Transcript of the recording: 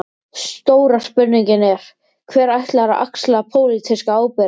Stóra spurningin er: Hver ætlar að axla pólitíska ábyrgð?